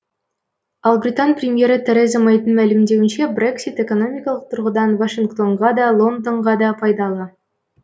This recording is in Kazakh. ал британ премьері тереза мэйдің мәлімдеуінше брексит экономикалық тұрғыдан вашингтонға да лондонға да пайдалы